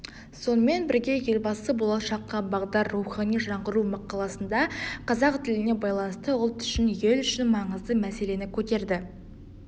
сонымен бірге елбасы болашаққа бағдар рухани жаңғыру мақаласында қазақ тіліне байланысты ұлт үшін ел үшін маңызды мәселені көтерді